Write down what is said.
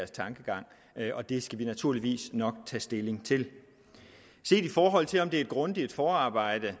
tankegang og det skal vi naturligvis nok tage stilling til set i forhold til om det er et grundigt forarbejde